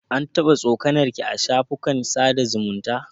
An taɓa tsokanar ki a shafukan sada zumunta?